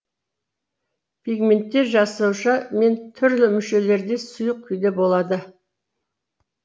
пигменттер жасуша мен түрлі мүшелерде сұйық күйде болады